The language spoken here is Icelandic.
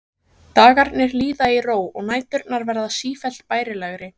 Dagarnir líða í ró og næturnar verða sífellt bærilegri.